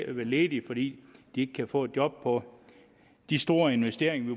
at være ledige fordi de ikke kan få et job på de store investeringer